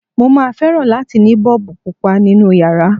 Mo máa fẹ́ràn láti ní Bọ́ọ̀bù Pupa nínu yàrá.